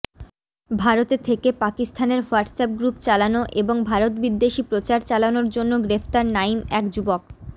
ভারতে থেকে পাকিস্তানের হোয়াটসঅ্যাপ গ্রুপ চালানো এবং ভারতবিদ্বেষী প্রচার চালানোর জন্য গ্রেফতার নাঈম এক যুবক